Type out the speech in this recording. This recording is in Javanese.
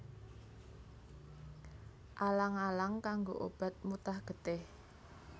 Alang alang kanggo obat mutah getih